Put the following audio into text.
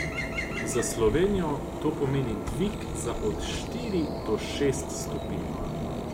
Za Slovenijo to pomeni dvig za od štiri do šest stopinj.